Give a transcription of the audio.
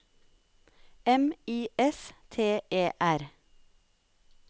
M I S T E R